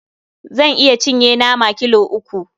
Zan iya cinye nama kilo uku.